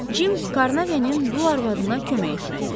Cim Qarnavenin dul arvadına kömək etməliyik.